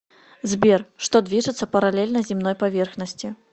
сбер что движется параллельно земной поверхности